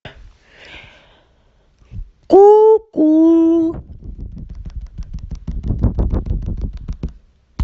ку ку